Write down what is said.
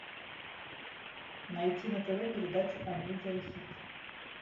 найти на тв передачу амедиа хит